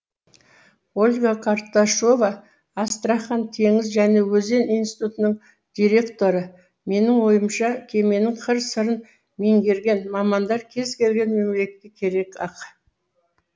ольга карташова астрахань теңіз және өзен институтының директоры менің ойымша кеменің қыр сырын меңгерген мамандар кез келген мемлекетке керек ақ